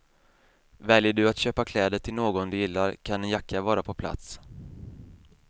Väljer du att köpa kläder till någon du gillar kan en jacka vara på plats.